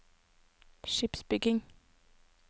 skipsbygging